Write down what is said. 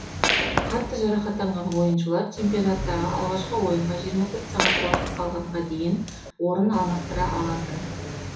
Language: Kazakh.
қатты жарақаттанған ойыншылар чемпионаттағы алғашқы ойынға жиырма төрт сағат уақыт қалғанға дейін орын алмастыра алатын